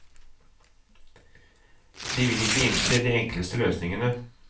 De vil ikke innse de enkleste løsningene.